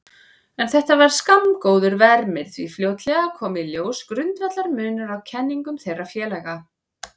En þetta var skammgóður vermir því fljótlega kom í ljós grundvallarmunur á kenningum þeirra félaga.